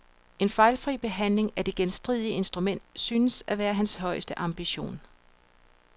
En fejfri behandling af det genstridige instrument synes at være hans højeste ambition.